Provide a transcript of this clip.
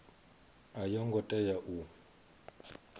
a yo ngo tea u